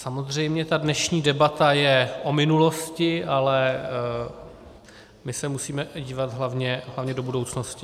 Samozřejmě ta dnešní debata je o minulosti, ale my se musíme dívat hlavně do budoucnosti.